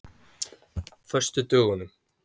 föstudögunum